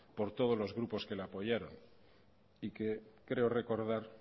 por todos los grupos que la apoyaron y que creo recordar